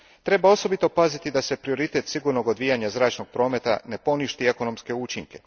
Treba osobito paziti da prioritet sigurnog odvijanja zračnog prometa ne poništi ekonomske učinke.